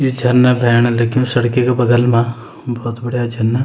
यि झरना भैण लग्युं सड़की क बगल मा भौत बढ़िया झरना।